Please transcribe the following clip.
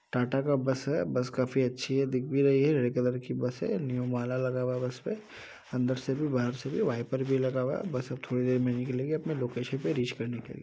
टाटा का बस है। बस काफी अच्छी है दिख भी रही है। रेड कलर की बस है। न्यू माला लगा हुआ है बस पे अंदर से भी बाहर से भी वायपर लगा हुआ है। बस अब थोड़ी देर में निकलेगी अपने लोकेशन पे रिच करने के लिए।